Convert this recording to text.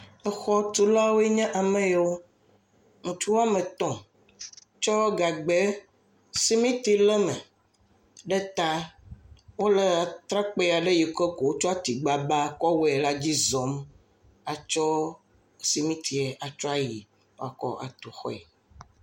Exɔtulawoe nye ame yawo. Ŋutsu woame tɔ̃ tsɔ gagbɛ simiti le eme ɖe taa. Wole trakpui aɖe ko wotsɔ tigbagba kɔwɔe la dzi zɔm atsɔ simitiɛ atsɔ yie woatsɔ akɔtu xɔe.